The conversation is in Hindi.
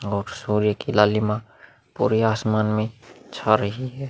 और सूर्य की लालीमा पूरी आसमान में छा रही है।